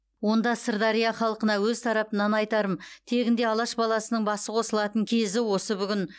онда сырдария халқына өз тарапымнан айтарым тегінде алаш баласының басы қосылатын кезі осы бүгін